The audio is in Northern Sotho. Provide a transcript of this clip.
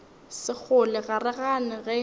sekgole ga re gane ge